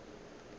gore ba be ba sa